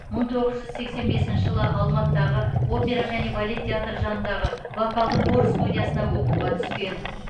мың тоғыз жүз сексен бесінші жылы алматыдағы опера және балет театры жанындағы вокалдық хор студиясына оқуға түскен